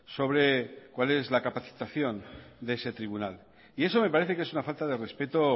sobre cuál es la capacitación de ese tribunal y eso me parece que es una falta de respeto